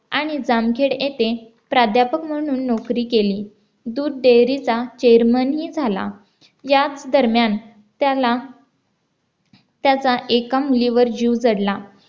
आणि जामखेड येथे प्राध्यापक म्हणून नोकरी केली दूध dairy चा chairman ही झाला याच दरम्यान त्याला त्याचा एका मुलीवर जीव जडला